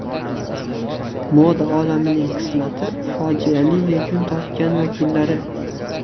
Moda olamining qismati fojiali yakun topgan vakillari .